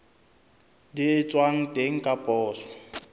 di etswang teng ka poso